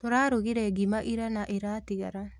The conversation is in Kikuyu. Tũrarugire ngima ira na ĩratigara